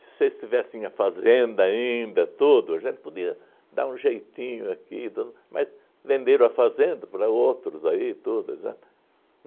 Se vocês tivessem a fazenda ainda, tudo, a gente podia dar um jeitinho aqui, tudo, mas venderam a fazenda para outros aí, tudo, exata